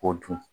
K'o dun